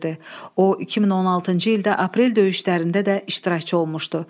O, 2016-cı ildə Aprel döyüşlərində də iştirakçı olmuşdu.